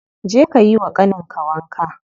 Je ka yiwa ƙanin ka wanka.